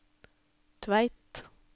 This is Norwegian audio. Tveit